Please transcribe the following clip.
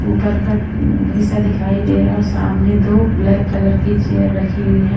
ऊपर का हिस्सा दिखाई दे रहा है और सामने दो ब्लैक कलर की चेयर रखी हुई हैं।